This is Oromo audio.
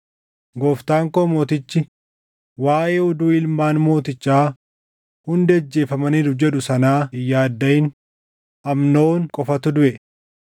Gooftaan koo mootichi waaʼee oduu ilmaan mootichaa hundi ajjeefamaniiru jedhu sanaa hin yaaddaʼin; Amnoon qofatu duʼe.”